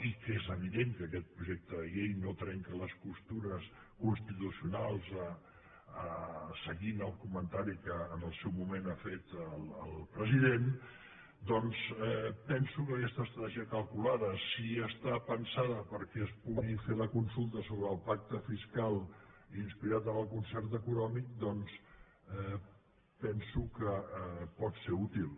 i que és evident que aquest projecte de llei no trenca les costures constitucionals seguint el comentari que en el seu moment ha fet el president penso que aquesta estratègia calculada si està pensada perquè es pugui fer la consulta sobre el pacte fiscal inspirat en el concert econòmic penso que pot ser útil